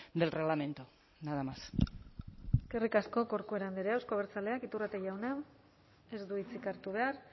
del reglamento nada más eskerrik asko corcuera andrea euzko abertzaleak iturrate jauna ez du hitzik hartu behar